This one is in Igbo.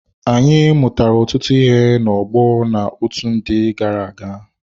Anyị mụtara ọtụtụ ná ọgbọ na otu ndị gara-aga.